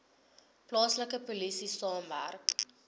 plaaslike polisie saamwerk